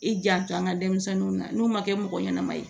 I janto an ga denmisɛnninw na n'u ma kɛ mɔgɔ ɲɛnama ye